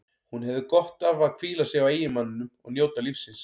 Hún hefði gott af að hvíla sig á eiginmanninum og njóta lífsins.